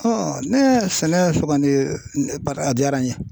ne ye sɛnɛ sugandi a diyara n ye.